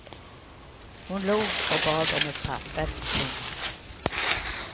Hon log och bad om ett papper. punkt